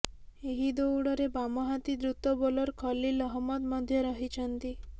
ଏହି ଦୌଡ଼ରେ ବାମହାତୀ ଦ୍ରୁତ ବୋଲର ଖଲୀଲ ଅହମ୍ମଦ ମଧ୍ୟ ରହିଛନ୍ତି